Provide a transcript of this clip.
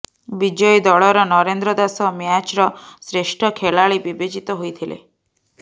ବିଜୟୀ ଦଳର ନରେନ୍ଦ୍ର ଦାଶ ମ୍ୟାଚ୍ର ଶ୍ରେଷ୍ଠ ଖେଳାଳି ବିବେଚିତ ହୋଇଥିଲେ